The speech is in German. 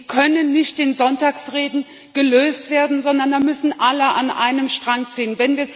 Die können nicht in Sonntagsreden gelöst werden, sondern da müssen alle an einem Strang ziehen.